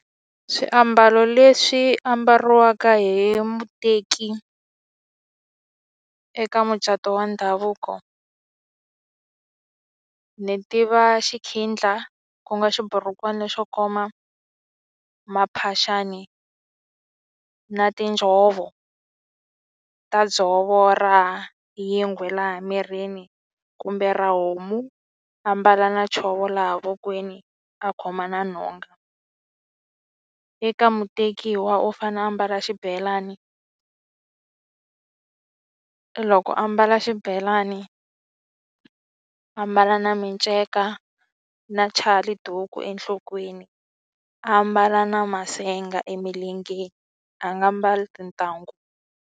Swiambalo leswi ambariwaka hi muteki eka mucato wa ndhavuko ni tiva xikhindla ku nga xiburukwani xo koma maphaxani na tinjhovo ta dzovo ra yingwe laha mirini kumbe ra homu a mbala na chovo laha vokweni a khoma na nhonga. Eka mutekiwa u fane a mbala xibelani loko a mbala xibelani a mbala na miceka na chaliduku enhlokweni a mbala na masenga emilengeni a nga mbali tintangu.